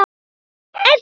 Amma Edda.